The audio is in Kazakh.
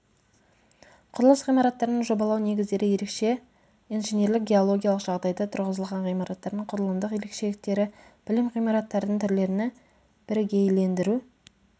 құрылыс ғимараттарының жобалау негіздері ерекше инженерлік геологиялық жағдайда тұрғызылған ғимараттардың құрылымдық ерекшеліктері білім ғимараттардың түрлері бірігейлендіру